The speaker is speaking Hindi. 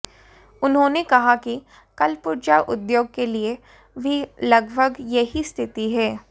उन्होंने कहा कि कलपुर्जा उद्योग के लिए भी लगभग यही स्थिति है